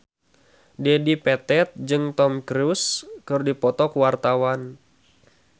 Dedi Petet jeung Tom Cruise keur dipoto ku wartawan